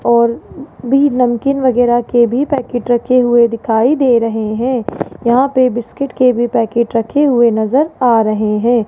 और भी नमकीन वगैरा के भी पैकेट रखे हुए दिखाई दे रहे हैं यहां पे बिस्कुट के भी पैकेट रखे हुए नजर आ रहे हैं।